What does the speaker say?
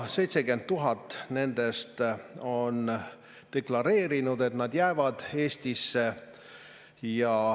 70 000 nendest on deklareerinud, et nad jäävad Eestisse.